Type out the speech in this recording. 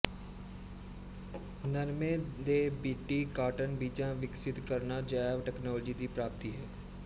ਨਰਮੇ ਦੇ B T cotton ਬੀਜਾਂ ਵਿਕਸਿਤ ਕਰਨਾ ਜੈਵ ਟੈਕਨਾਲੋਜੀ ਦੀ ਪ੍ਰਾਪਤੀ ਹੈ